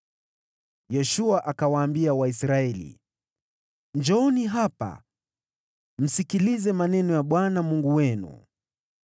Yoshua akawaambia Waisraeli, “Njooni hapa msikilize maneno ya Bwana Mungu wenu.